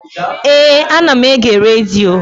Éè, ana m ege redio